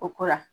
O ko la